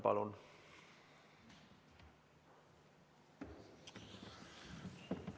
Palun!